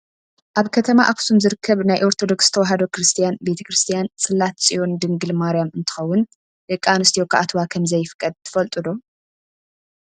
ኣብ ከተማ ኣክሱም ዝርከብ ናይ ኦርቶዶክስ ተዋህዶ ክርስትያን ቤተ-ክርስትያን ፅላት ፆዮን ድንግል ማርያም እንትከውን፣ ደቂ ኣንስትዮ ክኣትዋ ከምዘይፍቀድ ትፈልጡ ዶ ?